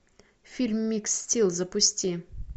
фильм микс стил запусти